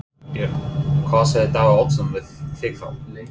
Björn: Hvað sagði Davíð Oddsson við þig þá?